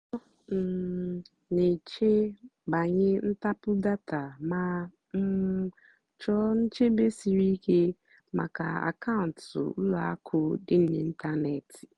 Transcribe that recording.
ọ́ um nà-èchè bànyè ntàpụ́ dátà mà um chọ́ọ́ nchèbè síríké màkà àkàụ́ntụ́ ùlọ àkụ́ dì n'ị́ntánètị́.